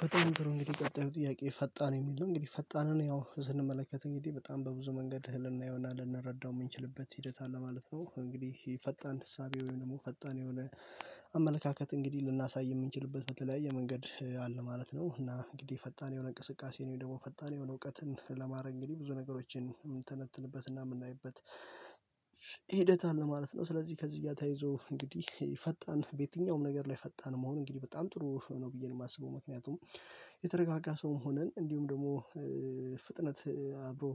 በጣም ጥሩ እንግዲህ ቀጣዩ ጥያቄ ፈጣን የሚል ነው እንግዲህ ፈጣንን ያው ስንመለከት እንግዲህ በጣም በብዙ መንገድ ልናየውና ልንረዳው የምንችልበት ሂደት አለ ማለት ነው። እንግዲህ ይሄ ፈጣን እሳቤ ወይም ደግሞ ፈጣን የሆነ አመለካከት እንግዲህ ልናሳይ የምንችልበት በተለያየ መንገድ አለ ማለት ነው። እና እንግዲህ ፈጣን የሆነ እንቅስቃሴ ነው ደግሞ ፈጣን የሆነ እውቀትን ለማድረግ እንግዲህ ብዙ ነገሮችን እምንተነትንበትና የምናይበት። ሂደት አለ ማለት ነው ስለዚህ ከዚህ ተያይዞ እንግዲህ ፈጣን በየትኛውም ነገር ላይ ፈጣን መሆን እንግዲህ በጣም ጥሩ ነው ብዬ ነው የማስበው። ምክንያቱም የተረጋጋ ሰውም ሆነን እንዲሁም ደግሞ ፍጥነት አብሮ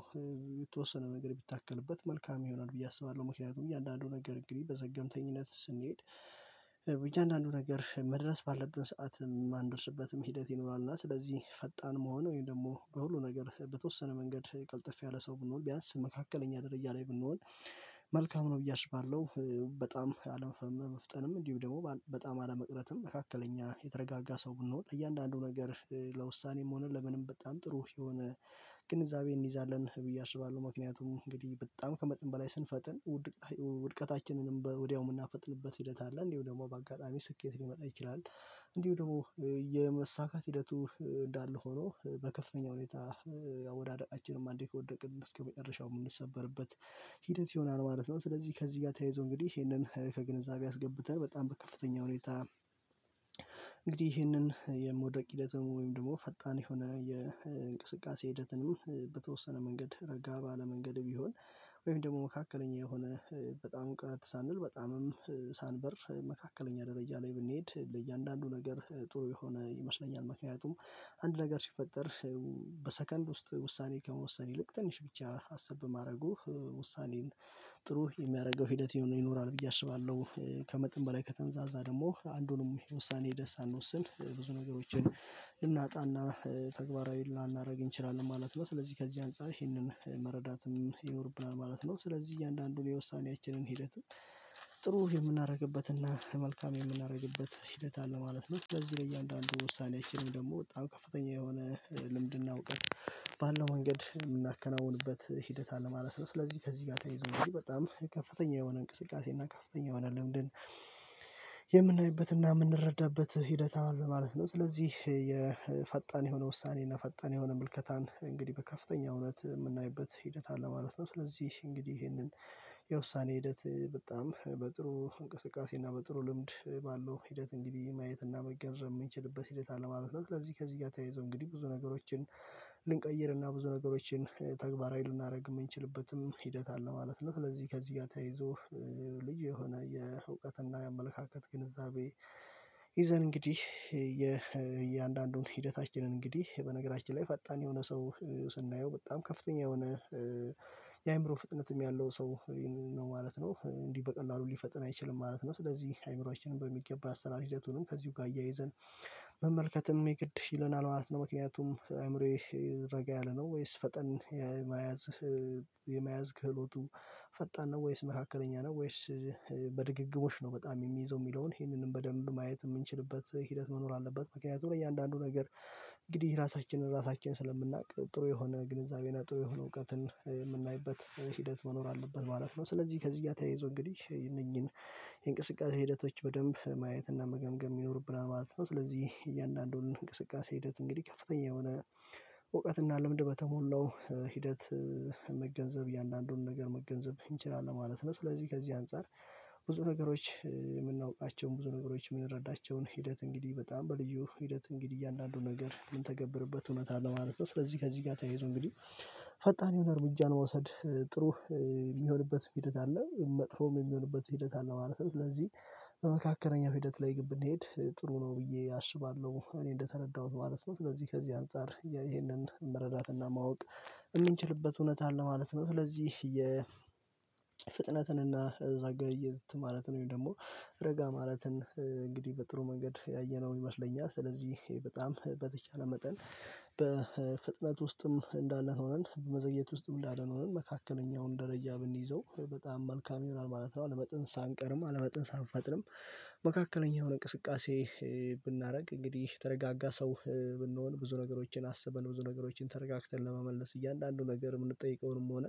የተወሰነ ነገር ቢታከልበት መልካም ይሆናል ብዬ አስባለሁ። ምክንያቱም እያንዳንዱ ነገር እንግዲህ በዘገምተኝነት ስንሄድ እያንዳንዱ ነገር መድረስ ባለብን ሰዓት የማንደርስበትም ሂደት ይኖራል። እና ስለዚህ ፈጣን መሆን ወይም ደግሞ በሁሉ ነገር በተወሰነ መንገድ ቀልጠፍ ያለ ሰው ብንሆን ቢያንስ መካከለኛ ደረጃ ላይ ብንሆን መልካም ነው ብዬ አስባለሁ። በጣም አለመፍጠንም እንዲሁ ደግሞ በጣም አለመቅረትም መካከለኛ የተረጋጋ ሰው ብንሆን ለእያንዳንዱ ነገር ለውሳኔም ሆነ ለምንም በጣም ጥሩ የሆነ ግንዛቤ እንይዛለን ብዬ አስባለሁ። ምክንያቱም እንግዲህ በጣም ከመጠን በላይ ስንፈጥን ውድቀታችንንም ወዲያው የምናፈጥንበት ሂደት አለ እንዲሁ ደግሞ በአጋጣሚ ስኬት ሊመጣ ይችላል። እንዲሁ ደግሞ የመሳካት ሂደቱ እንዳለ ሆኖ በከፍተኛ ሁኔታ አወዳደቃችንም አንዴ ከወደቅን እስከመጨረሻው የምንሰበርበት ሂደት ይሆናል ማለት ነው። ስለዚህ ከዚህ ጋር ተይዞ እንግዲህ ይሄንን ከግንዛቤ አስገብተን በጣም በከፍተኛ ሁኔታ እንግዲህ ይህንን የመወደቅ ሂደትም ወይም ደግሞ ፈጣን የሆነ የእንቅስቃሴ ሂደትንም በተወሰነ መንገድ ረጋ ባለ መንገድ ቢሆን ወይም ደግሞ መካከለኛ የሆነ በጣም ቀረት ሳንል በጣምም ሳንበር መካከለኛ ደረጃ ላይ ብንሄድ ለእያንዳንዱ ነገር ጥሩ የሆነ ይመስለኛል። ምክንያቱም አንድ ነገር ሲፈጠር በሰከንድ ውስጥ ውሳኔ ከመወሰን ይልቅ ትንሽ ብቻ ሀሳብ በማድረጉ ውሳኔን ጥሩ የሚያደርገው ሂደት ይኖራል ብዬ አስባለሁ። ከመጠን በላይ ከተንዛዛ ደግሞ አንዱንም የውሳኔ ሂደት ሳንወስን ብዙ ነገሮችን ልናጣና ተግባራዊ ላናረግ እንችላለን ማለት ነው። ስለዚህ ከዚህ አንፃር ይህንን መረዳትም ይኖርብናል ማለት ነው። ስለዚህ እያንዳንዱን የውሳኔያችንን ሂደት ጥሩ የምናደርግበትና መልካም የምናደርግበት ሂደት አለ ማለት ነው። ለዚህ በእያንዳንዱ ውሳኔያችንን ደግሞ በጣም ከፍተኛ የሆነ ልምድና እውቀት ባለው መንገድ የምናከናውንበት ሂደት አለ ማለት ነው። ስለዚህ ከዚህ ጋር ተያይዞ በጣም ከፍተኛ የሆነ እንቅስቃሴ እና ከፍተኛ የሆነ ልምድን የምናይበትና የምንረዳበት ሂደት አለ ማለት ነው። ስለዚህ የፈጣን የሆነ ውሳኔ እና ፈጣን የሆነ ምልከታን እንግዲህ በከፍተኛ እውነት የምናይበት ሂደት አለ ማለት ነው። ስለዚህ እንግዲህ ይሄንን የውሳኔ ሂደት በጣም በጥሩ እንቅስቃሴ እና በጥሩ ልምድ ባለው ሂደት እንግዲህ ማየት እና መገንዘብ የምንችልበት ሂደት አለማለት ነው። ስለዚህ ከዚህ ጋር ተያይዞ እንግዲህ ብዙ ነገሮችን ልንቀይርና ብዙ ነገሮችን ተግባራዊ ልናደርግ እምንችልበትም ሂደት አለ ማለት ነው። ስለዚህ ከዚህ ጋር ተይዞ ልጅ የሆነ የእውቀትና የአመለካከት ግንዛቤ ይዘን እንግዲህ የእያንዳንዱን ሂደታችንን እንግዲህ በነገራችን ላይ ፈጣን የሆነ ሰው ስናየው በጣም ከፍተኛ የሆነ የአይምሮ ፍጥነትም ያለው ሰው ነው ማለት ነው። እንዲህ በቀላሉ ሊፈጥን አይችልም ማለት ነው። ስለዚህ አይምሮአችንን በሚገባ አሰራር ሂደቱንም ከዚሁ ጋር አያይዘን መመልከትም የግድ ይለናል ማለት ነው። ምክንያቱም አእምሮዬ ረጋ ያለ ነው ወይስ ፈጠን የመያዝ የመያዝ ክህሎቱ ፈጣን ነው ወይስ መካከለኛ ነው ወይስ በድግግሞች ነው በጣም የሚይዘው የሚለውን ይህንንም በደንብ ማየት የምንችልበት ሂደት መኖር አለበት። ምክንያቱም ለእያንዳንዱ ነገር እንግዲህ ራሳችንን ራሳችን ስለምናውቅ ጥሩ የሆነ ግንዛቤና ጥሩ የሆነ እውቀትን የምናይበት ሂደት መኖር አለበት ማለት ነው። ስለዚህ ከዚህ እያተያይዞ እንግዲህ የእነኚህን የእንቅስቃሴ ሂደቶች በደንብ ማየትና መገምገም ይኖርብናል ማለት ነው። ስለዚህ እያንዳንዱን እንቅስቃሴ ሂደት እንግዲህ ከፍተኛ የሆነ እውቀት እና ልምድ በተሞላው ሂደት መገንዘብ እያንዳንዱን ነገር መገንዘብ እንችላለን ማለት ነው። ስለዚህ ከዚህ አንፃር ብዙ ነገሮች የምናውቃቸውን ብዙ ነገሮች የምንረዳቸውን ሂደት እንግዲህ በጣም በልዩ ሂደት እንግዲህ እያንዳንዱ ነገር ምን ተገብርበት እውነት አለ ማለት ነው። ስለዚህ ከዚህ ጋር ተይዞ እንግዲህ ፈጣን የሆነ እርምጃን መውሰድ ጥሩ የሚሆንበት ሂደት አለ መጥፎም የሚሆንበት ሂደት አለ ማለት ነው። ስለዚህ በመካከለኛው ሂደት ላይ ግን ብንሄድ ጥሩ ነው ብዬ አስባለሁ እኔ እንደተረዳሁት ማለት ነው። ስለዚህ ከዚህ አንፃር ይሄንን መረዳትና ማወቅ የሚንችልበት እውነት አለ ማለት ነው። ስለዚህ የ የፍጥነትን እና ዘገየት ማለትን ወይም ደግሞ ረጋ ማለትን እንግዲህ በጥሩ መንገድ ያየነው ይመስለኛል። ስለዚህ በጣም በተቻለ መጠን በፍጥነት ውስጥም እንዳለን ሆነን በመዘየት ውስጥም እንዳለን ሆነን መካከለኛውን ደረጃ ብንይዘው በጣም መልካም ይሆናል ማለት ነው። አለመጠን ሳንቀርም አለመጠን ሳንፈጥንም መካከለኛ የሆነ እንቅስቃሴ ብናደርግ እንግዲህ የተረጋጋ ሰው ብንሆን ብዙ ነገሮችን አስበን ብዙ ነገሮችን ተረጋግተን ለመመለስ እያንዳንዱን ነገር የምንጠይቀውንም ሆነ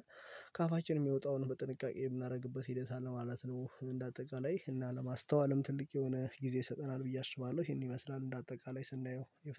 ከአፋችን የሚወጣውን በጥንቃቄ የምናደርግበት ሂደት አለ ማለት ነው። እንደ አጠቃላይ እና ለማስተዋልም ትልቅ የሆነ ጊዜ ይሰጠናል ብዬ አስባለሁ ይሄን ይመስላል እንደ አጠቃላይ ስናየው